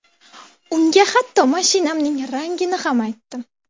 Unga hatto mashinamning rangini ham aytdim.